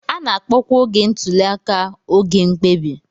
A na-akpọkwa oge ntuli aka oge mkpebi.